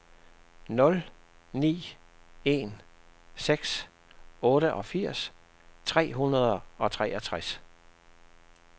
nul ni en seks otteogfirs tre hundrede og treogtres